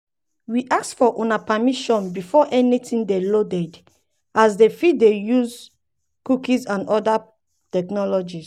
we ask um for una permission before anytin dey loaded as dem fit dey use cookies and oda technologies.